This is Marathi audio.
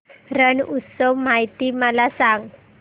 रण उत्सव माहिती मला सांग